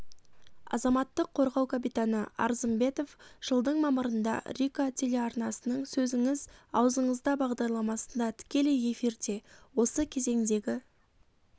азаматтық қорғау капитаны арзымбетов жылдың мамырында рика телеарнасының сөзіңіз аузыңызда бағдарламасында тікелей эфирде осы кезеңдегі